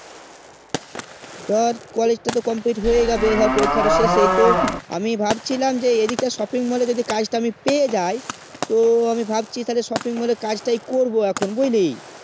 ধর college টা complete তো হয়ে ই যাবে এইবার পরীক্ষা তা শেষ হয়ে তো আমি ভাবছিলাম যে এই দিকে shopping mall এর যে কাজ টা আমি পেয়ে যায় তো আমি ভাবছি তালে shopping mall এ কাজ তাই করবো এখন বুঝলি